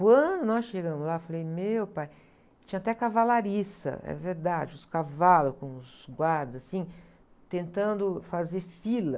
Quando nós chegamos lá, falei, meu pai, tinha até cavalariça, é verdade, os cavalos com os guardas, assim, tentando fazer fila.